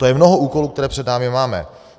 To je mnoho úkolů, které před sebou máme.